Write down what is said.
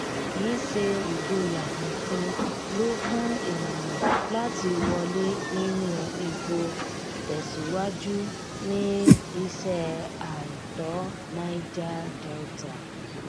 kì í ṣe ìgboyà nìkan ló fún ènìyàn láti wọlé nínú epo tẹsíwájú ní iṣẹ àìtọ niger delta